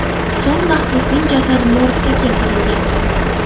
So‘ng mahbusning jasadi morgga keltirilgan.